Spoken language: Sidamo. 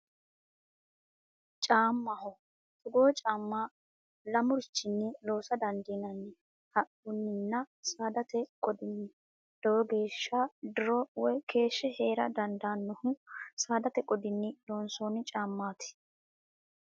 Caamaho, togoo caama lamurichini loosa dandinanni, haquninna saadate qodinni lowo geesha diro woyi keeshe heera dandannohu saadate qodinni loonsonni caamati